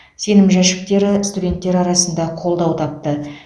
сенім жәшіктері студенттер арасында қолдау тапты